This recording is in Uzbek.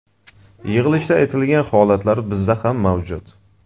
Yig‘ilishda aytilgan holatlar bizda ham mavjud.